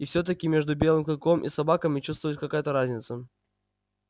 и все таки между белым клыком и собаками чувствовалась какая то разница